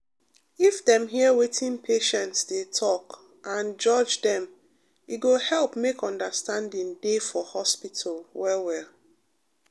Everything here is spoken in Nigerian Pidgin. if dem hear wetin patients dey talk and judge dem e go help make understanding dey for hospital well well.